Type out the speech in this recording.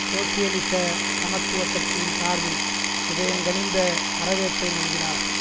சோசியலிச சமத்துவ கட்சியின் சார்பில் இதயங்கனிந்த வரவேற்பை நல்கினார்